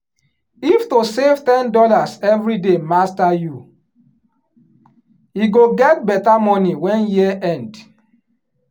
if to save ten dollars everyday master youe go get better money wen year end.